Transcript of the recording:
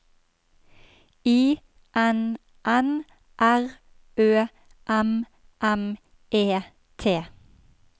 I N N R Ø M M E T